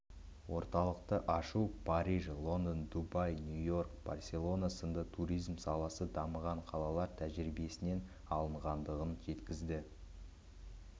орталықты ашу париж лондон дубай нью-йорк барселона сынды туризм саласы дамыған қалалар тәжірибесінен алынғандығын жеткізді